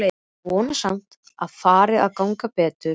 Ég vona samt að fari að ganga betur.